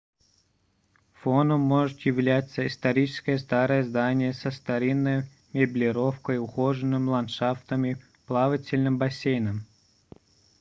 фоном может являться историческое старое здание со старинной меблировкой ухоженным ландшафтом и плавательным бассейном